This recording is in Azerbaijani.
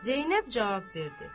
Zeynəb cavab verdi.